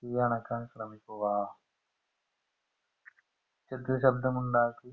തീ അണക്കാൻ ശ്രമിക്കുക ശബ്‌ദമുണ്ടാക്കി